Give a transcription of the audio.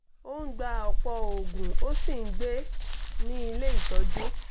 ó ń gba ọ̀pọ̀ oògùn ó sì ń gbé ní ilé ìtọ́jú